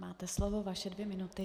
Máte slovo, vaše dvě minuty.